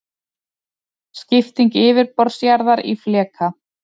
Skipting yfirborðs jarðar í fleka.